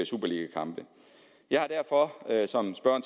superligakampe jeg har derfor